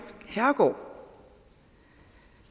herregård